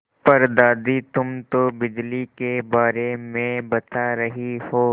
पर दादी तुम तो बिजली के बारे में बता रही हो